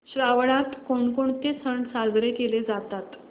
श्रावणात कोणकोणते सण साजरे केले जातात